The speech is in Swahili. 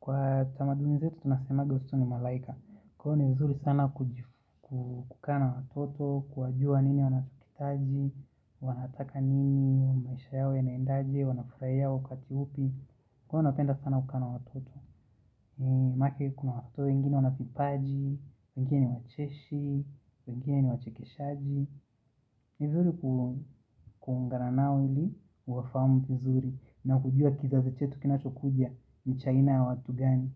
Kwa tamaduni zetu tunasemage watoto ni malaika. Kwa hivyo ni vizuri sana kukaa na watoto, kuwajua ni nini wanakihitaji, wanataka nini, maisha yao yanaendaje, wanafurahia wakati upi. Kwa hivyo napenda sana kukaa na watoto. Maanake kuna watoto, wengine wanavipaji, wengine wacheshi, wengine wachekeshaji. Ni zuri kuungananao ili uwafamu vizuri na kujua kizazi chetu kinachokuja ni cha aina ya watu gani.